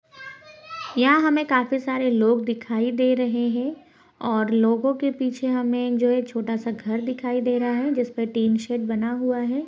यहां हमें काफी सारे लोग दिखाई दे रहे हैं और लोगों के पीछे हमें जो ये छोटा सा घर दिखाई दे रहा है जिसपे टिन शेड बना हुआ है।